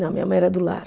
Não, minha mãe era do lar.